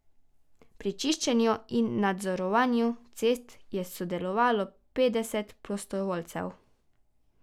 Pri čiščenju in nadzorovanju cest je sodelovalo petdeset prostovoljcev.